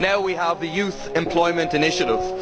Now we have the youth employment initiative.